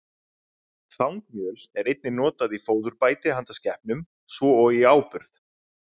Þangmjöl er einnig notað í fóðurbæti handa skepnum, svo og í áburð.